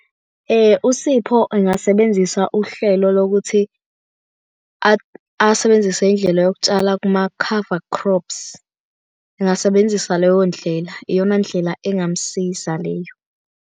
USipho engasebenzisa uhlelo lokuthi asebenzise indlela yokutshala kuma-cover crops. Engasebenzisa leyo ndlela, iyona ndlela engamusiza leyo.